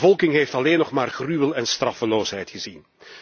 De bevolking heeft alleen nog maar gruwel en straffeloosheid gezien.